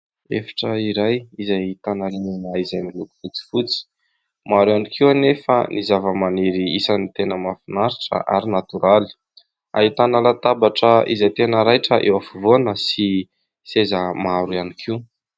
Efitra iray izay ahitana rindrina izay miloko fotsifotsy. Maro ihany koa anefa ny zava-maniry isan'ny tena mahafinaritra ary natoraly. Ahitana latabatra izay tena raitra eo afovoany sy seza maro ihany koa.